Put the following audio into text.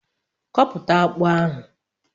Koputa akpu ahu